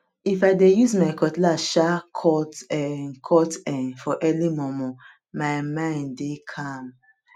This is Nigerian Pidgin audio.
if i dey use my cutlass um cut um cut um for early momo my mind dey calm